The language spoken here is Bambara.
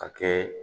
Ka kɛ